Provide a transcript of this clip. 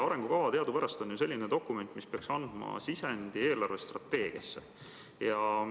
Arengukava teadupärast on selline dokument, mis peaks andma sisendi eelarvestrateegiasse.